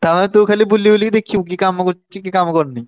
ତାହେଲେ ତୁ ଖାଲି ବୁଲିବୁଲି ଦେଖିବୁ କିଏ କାମ କରୁଚି କିଏ କାମ କରୁନି।